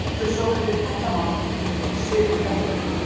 Þetta eru svokölluð hellamálverk í Suður-Evrópu.